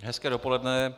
Hezké dopoledne.